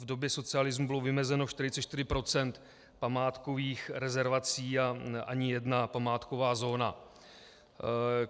V době socialismu bylo vymezeno 44 % památkových rezervací a ani jedna památková zóna.